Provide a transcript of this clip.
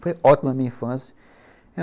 Foi ótima a minha infância.